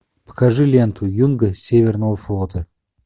покажи ленту юнга северного флота